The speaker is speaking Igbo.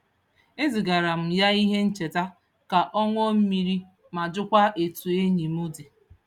E zigaara m ya ihe ncheta ka ọ ṅụọ mmiri ma jụkwaa etu enyi m dị.